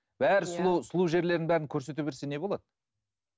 бәрі сұлу сұлу жерлерін бәрін көрсете берсе не болады